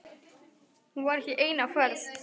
Hún var ekki ein á ferð.